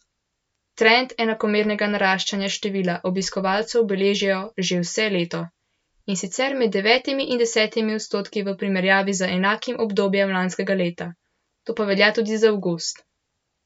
Trend enakomernega naraščanja števila obiskovalcev beležijo že vse leto, in sicer med devetimi in desetimi odstotki v primerjavi z enakim obdobjem lanskega leta, to pa velja tudi za avgust.